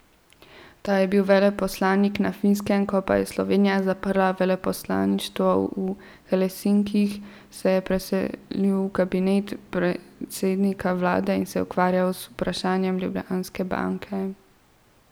Ta je bil veleposlanik na Finskem, ko pa je Slovenija zaprla veleposlaništvo v Helsinkih, se je preselil v kabinet predsednika vlade in se ukvarjal z vprašanjem Ljubljanske banke.